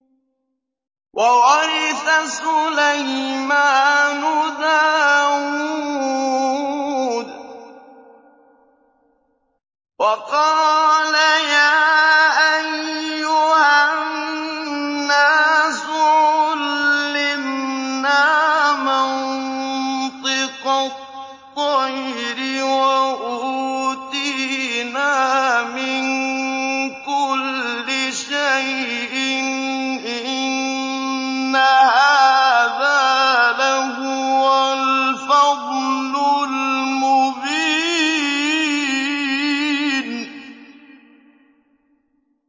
وَوَرِثَ سُلَيْمَانُ دَاوُودَ ۖ وَقَالَ يَا أَيُّهَا النَّاسُ عُلِّمْنَا مَنطِقَ الطَّيْرِ وَأُوتِينَا مِن كُلِّ شَيْءٍ ۖ إِنَّ هَٰذَا لَهُوَ الْفَضْلُ الْمُبِينُ